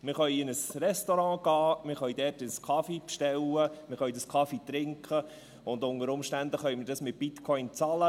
Wir können in ein Restaurant gehen, wir können dort einen Kaffee bestellen, wir können diesen Kaffee trinken und unter Umständen können wir diesen mit Bitcoin bezahlen.